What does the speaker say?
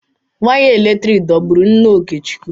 Wire eletrik dọgburu nna Okechukwu.